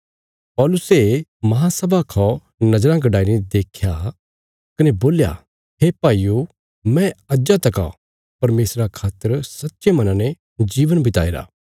पौलुसे महासभा खौ नज़राँ गडाई ने देख्या कने बोल्या हे भाईयो मैं अज्जा तका परमेशरा खातर सच्चे मना ने जीवन बिताई रा